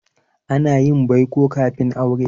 Ana yin baiko kafin aure.